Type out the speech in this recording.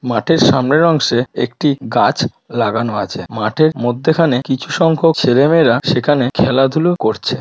মাঠের সামনের অংশে একটি গাছ লাগানো আছে মাঠের মধ্যেখানে কিছু সংখ্যক ছেলে মেয়েরা সেখানে খেলাধুলো করছে।